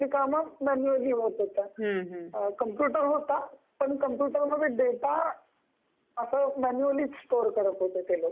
बरीच कामे म्यानुअलि होत कम्प्यूटर होता पण कम्प्यूटर मध्ये डेटा म्यानुअलि स्टोर करत होते ते पण